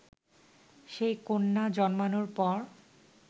সেই কন্যা জন্মানোর পর